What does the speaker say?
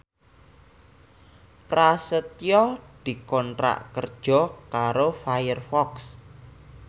Prasetyo dikontrak kerja karo Firefox